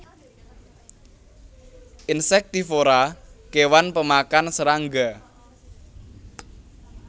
Insektivora kewan pemakan serangga